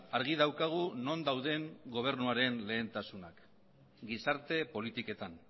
argi daukagu non dauden gobernuaren lehentasunak gizarte politiketan